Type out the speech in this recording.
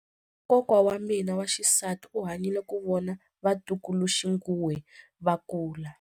Kokwa wa mina wa xisati u hanyile ku vona vatukuluxinghuwe va kula.